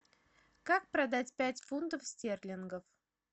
как продать пять фунтов стерлингов